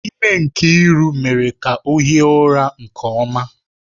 Ime Nkiru mere ka ọ hie ụra nke ọma.